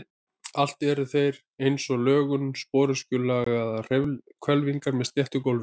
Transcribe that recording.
Allir eru þeir eins að lögun, sporöskjulagaðar hvelfingar með sléttu gólfi.